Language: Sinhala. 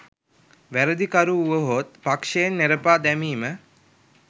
වැරදිකරු වුවහොත් පක්ෂයෙන් නෙරපා දැමීම